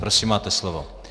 Prosím, máte slovo.